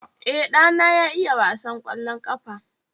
E, ɗana ya iya wasan kwallon ƙafa